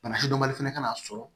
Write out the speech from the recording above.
Bana fɛnɛ ka n'a sɔrɔ